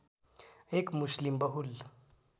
एक मुस्लिम बहुल